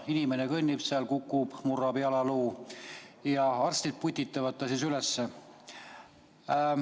Inimene kõnnib seal, kukub, murrab jalaluu ja arstid putitavad ta üles.